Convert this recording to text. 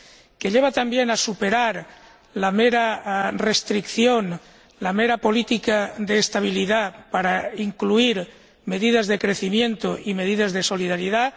que lleva también a superar la mera restricción, la mera política de estabilidad, para incluir medidas de crecimiento y medidas de solidaridad